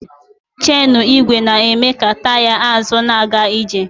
Chenụ igwe na-eme ka taya azụ na-aga ije.